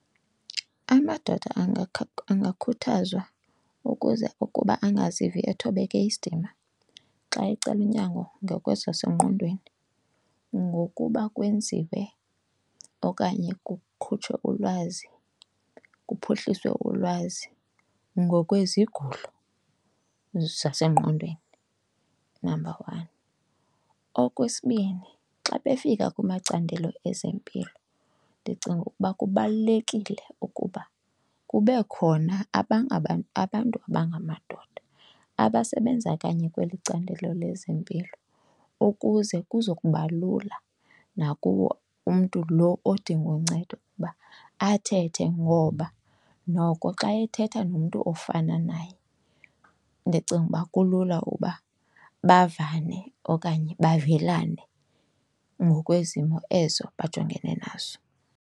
Amadoda angakhuthazwa ukuze ukuba angazivi ethobeke isidima xa ecela unyango ngokwasezingqondweni ngokuba kwenziwe okanye kukhutshwe ulwazi, kuphuhliswe ulwazi ngokwezigulo zasengqondweni, number one. Okwesibini, xa befika kumacandelo ezempilo ndicinga ukuba kubalulekile ukuba kube khona abantu abangamadoda abasebenza kanye kweli candelo lezempilo ukuze kuzokuba lula nakuwo umntu lo odinga uncedo ukuba athethe. Ngoba noko xa ethetha nomntu ofana naye ndicinga uba kulula uba bavane okanye bavelane ngokwezimo ezo bajongene nazo.